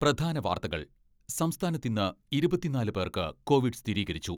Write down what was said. പ്രധാന വാർത്തകൾ, സംസ്ഥാനത്ത് ഇന്ന് ഇരുപത്തിനാല് പേർക്ക് കോവിഡ് സ്ഥിരീകരിച്ചു.